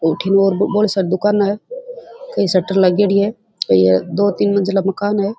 अठीने बहुत सारा दुकान है कई शटर लगेड़ी है यहाँ ये दो तीन मंजिला मकान है।